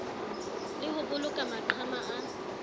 le ho boloka maqhama a